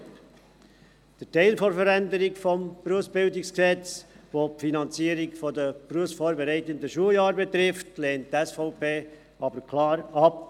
Den Teil der Änderung des BerG, der die Finanzierung der BVS betrifft, lehnt die SVP jedoch klar ab.